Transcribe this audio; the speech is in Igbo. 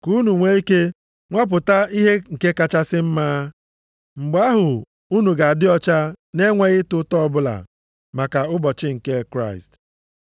Ka unu nwee ike nwapụta ihe nke kachasị mma. Mgbe ahụ, unu ga-adị ọcha nʼenweghị ịta ụta ọbụla maka ụbọchị nke Kraịst.